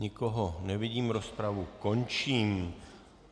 Nikoho nevidím, rozpravu končím.